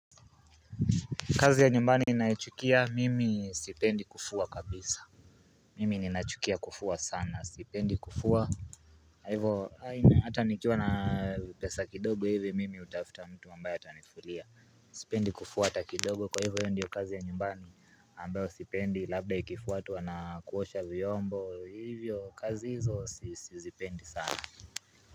Kazi ya nyumbani ninayochukia mimi sipendi kufua kabisa Mimi ninachukia kufua sana sipendi kufua kwa hivo hata nikiwa na pesa kidogo hivi mimi hutafuta mtu ambaye atanifulia Sipendi kufua hata kidogo kwa hivyo ndiyo kazi ya nyumbani ambayo sipendi labda ikifuatwa na kuosha vyombo hivyo kazi hizo sizipendi sana.